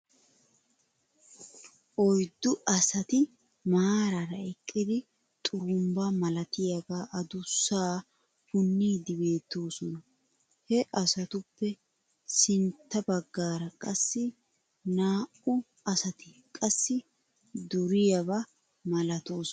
Oyddu asati maaraara eqqidi xurumbba malatiyaagaa adusaa puniiddi beettosona. He asatuppe sintta bagaara qassi naa'u asati qassi duriyaaba malatoosona .